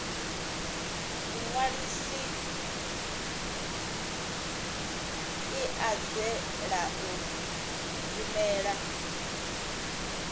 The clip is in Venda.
muṅwalisi i anzela u rumela